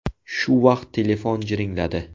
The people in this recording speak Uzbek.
Shu vaqt telefon jiringladi.